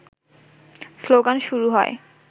slogan শুরু হয়